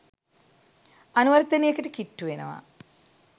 අනුවර්තනයකට කිට්ටු වෙනවා.